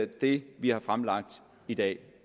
det vi har fremlagt i dag